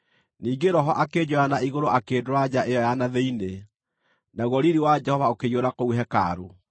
Ningĩ Roho akĩnjoya na igũrũ akĩndwara nja ĩyo ya na thĩinĩ, naguo riiri wa Jehova ũkĩiyũra kũu hekarũ.